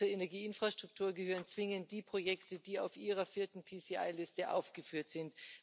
Und zur Energieinfrastruktur gehören zwingend die Projekte, die auf Ihrer vierten Liste aufgeführt sind.